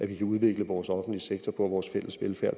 vi kan udvikle vores offentlige sektor og vores fælles velfærd